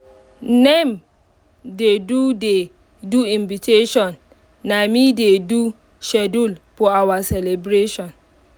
naim dey do dey do invitation na me dey do schedule for our celebration